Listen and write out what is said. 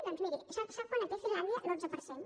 doncs miri sap a quant la té finlàndia a l’onze per cent